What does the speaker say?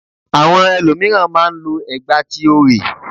Àwọn elòmíràn má a n lo ẹ̀gbà ti orè